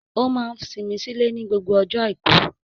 Ó máa n simi sí ilé ní gbogbo ọjọ́ àìkú